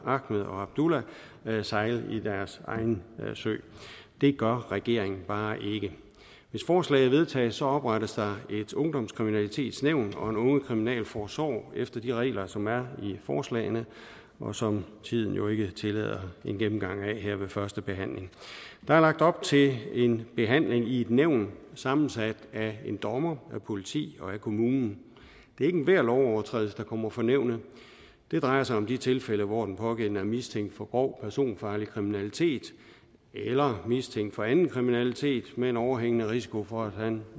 ahmed og abdulla sejle deres egen sø det gør regeringen bare ikke hvis forslaget vedtages oprettes ungdomskriminalitetsnævnet og ungekriminalforsorgen efter de regler som er i forslagene og som tiden jo ikke tillader en gennemgang af her ved førstebehandlingen der er lagt op til en behandling i et nævn sammensat af en dommer politi og kommune det er ikke enhver lovovertrædelse der kommer for nævnet det drejer sig om de tilfælde hvor den pågældende er mistænkt for grov personfarlig kriminalitet eller mistænkt for anden kriminalitet med overhængende risiko for at han